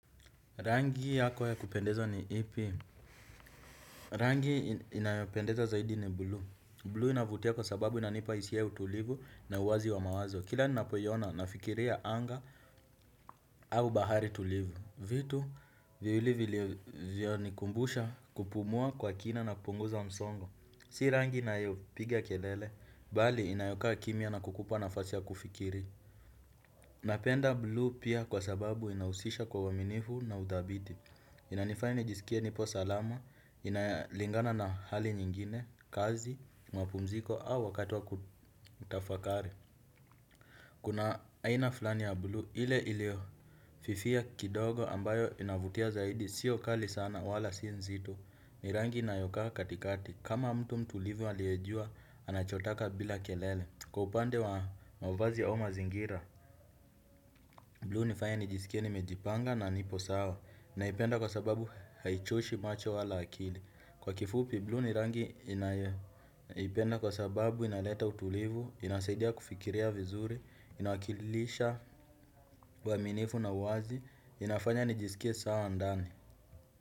Rangi yako ya kupendeza ni ipi. Rangi inayopendeza zaidi ni blue. Blue inavutia kwa sababu inanipa hisia ya utulivu na uwazi wa mawazo. Kila ninapoyona, nafikiria anga au bahari tulivu. Vitu, viwili vilivyonikumbusha kupumua kwa kina na kupunguza msongo. Si rangi inayopiga kelele, bali inayokaa kimya na kukupa nafasi ya kufikiri. Napenda blue pia kwa sababu inahusisha kwa uaminifu na udhabiti. Inanifanya nijisikia nipo salama, inalingana na hali nyingine, kazi, mapumziko au wakati wa kutafakari. Kuna aina fulani ya blue, ile iliofifia kidogo ambayo inavutia zaidi, siyo kali sana wala sin nzito ni rangi inayokaa katikati, kama mtu mtulivu aliejua, anachotaka bila kelele. Kwa upande wa mavazi au mazingira Blue hunifanya nijisikie nimejipanga na nipo sawa, naipenda kwa sababu haichoshi macho wala akili. Kwa kifupi blue ni rangi ninayoipenda kwa sababu inaleta utulivu, inasaidia kufikiria vizuri, inawakilisha uaminifu na uwazi, inafanya nijisikie sawa ndani.